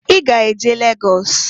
I ga-eje Lagọs?